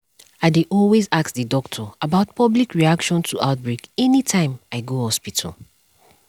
i dey always ask the doctor about public reaction to outbreak anytym i go hospital